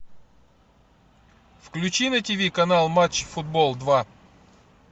включи на тиви канал матч футбол два